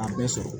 A bɛ sɔrɔ